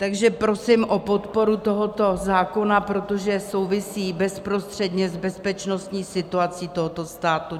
Takže prosím o podporu tohoto zákona, protože souvisí bezprostředně s bezpečnostní situací tohoto státu.